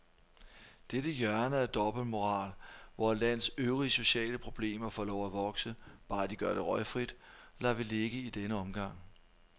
Dette hjørne af dobbeltmoral, hvor et lands øvrige sociale problemer får lov at vokse, bare de gør det røgfrit, lader vi ligge i denne omgang.